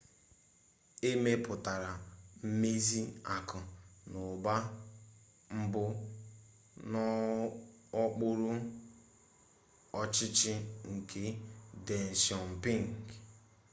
e mepụtara mmezi akụ na ụba mbụ n'okpuru ọchịchị nke deng xiaoping